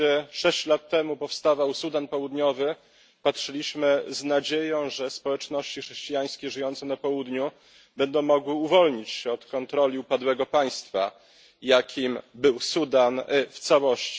Kiedy sześć lat temu powstawał Sudan Południowy, patrzyliśmy z nadzieją, że społeczności chrześcijańskie żyjące na południu będą mogły uwolnić się spod kontroli upadłego państwa, jakim był Sudan w całości.